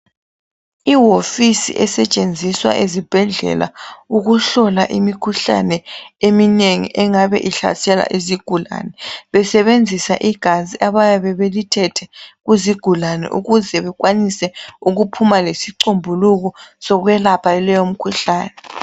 Iwofisi esetshenziswa ezibhedlela ukuhlola imikhuhlane eminengi engabe ihlasela izigulane besebenzisa igazi abayabe belithethe kuzigulane ukuze bekwanise ukuphuma lesicombuluko sokwelapha leyo mkhuhlane .